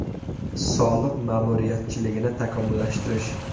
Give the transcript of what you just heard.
Soliq ma’muriyatchiligini takomillashtirish.